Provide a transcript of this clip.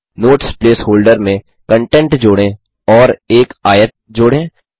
notes placeholder में content जोड़ें और एक आयत जोड़ें